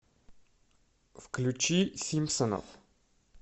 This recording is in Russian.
включи симпсонов